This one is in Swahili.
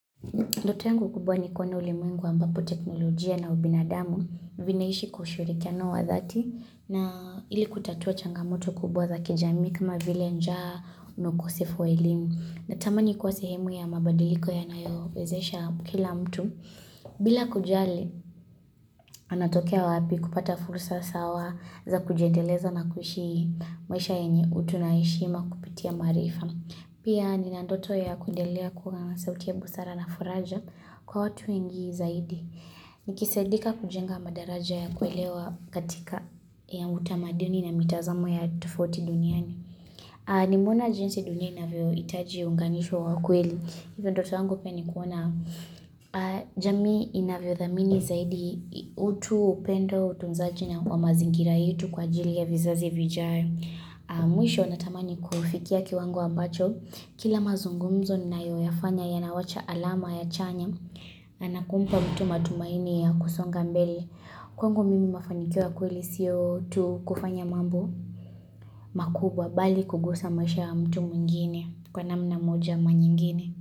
Ndoto yangu kubwa ni kuona ulimwengu ambapo teknolojia na ubinadamu vinaishi kwa ushirikiano wa thati na ili kutatua changamoto kubwa za kijamii kama vile njaa na ukosefu wa elimu na tamani kwa sehemu ya mabadiliko ya nayo wezesha kila mtu bila kujali anatokea wapi kupata fursa sawa za kujiedeleza na kuishi maisha yenye utu na heshima kupitia maarifa. Pia nina ndoto ya kuendelea kuwa sauti ya busara na faraja kwa watu wengi zaidi. Nikisaidika kujenga madaraja ya kuelewa katika ya utamaduni na mitazamo ya tofauti duniani. Nimeona jinsi dunia ina vyo itaji unganisho wakweli. Hivyo ndoto yangu pia nikuona jamii inavyo dhamini zaidi utu upendo utunzaji wa mazingira yetu kwa ajili ya vizazi vijayo. Mwisho natamani kufikia kiwango ambacho Kila mazungumzo ninayoyafanya yanawacha alama ya chanya na kumpa mtu matumaini ya kusonga mbele Kwangu mimi mafanikio ya kweli siyo tu kufanya mambo makubwa bali kugusa maisha ya mtu mwingine Kwa namna moja ama nyingine.